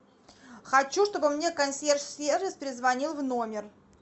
хочу чтобы мне консьерж сервис перезвонил в номер